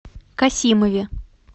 касимове